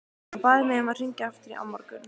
Hann bað mig að hringja aftur á morgun.